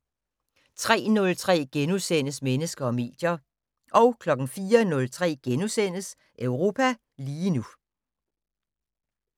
03:03: Mennesker og medier * 04:03: Europa lige nu *